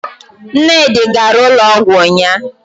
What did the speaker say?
Nnedi gara ụlọọgwụ ụnyahụ